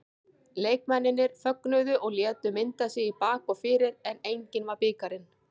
Leikmennirnir fögnuðu og létu mynda sig í bak og fyrir en enginn var bikarinn.